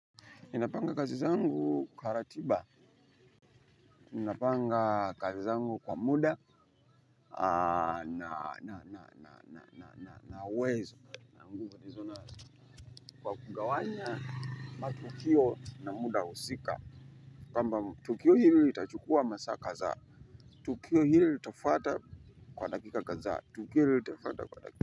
Ninapanga kazi zangu kwa ratiba, ninapanga kazi zangu kwa muda nina uwezo, na nguvu nizo na kwa kugawanya matukio na muda husika, kwamba tukio hili litachukua masaa kadha, tukio hili litafuata kwa dakika kadha, tukio hili itafata kwa dakika.